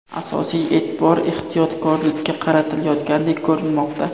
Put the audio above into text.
Asosiy e’tibor ehtiyotkorlikka qaratilayotgandek ko‘rinmoqda.